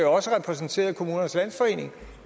også repræsenteret i kommunernes landsforening